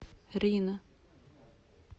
рино